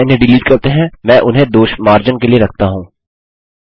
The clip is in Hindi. अतः इन्हें डिलीट करते हैं मैं उन्हें दोषमार्जन के लिए रखता हूँ